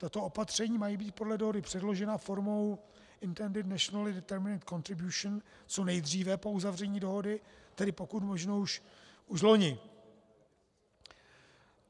Tato opatření mají být podle dohody předložena formou Intended Nacionally Determined Contributions co nejdříve po uzavření dohody, tedy pokud možno už loni.